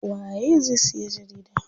Waye zai siya jarida?